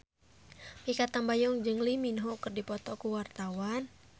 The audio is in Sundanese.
Mikha Tambayong jeung Lee Min Ho keur dipoto ku wartawan